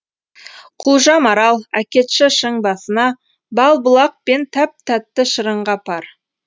құлжа марал әкетші шың басына бал бұлақ пен тәп тәтті шырынға пар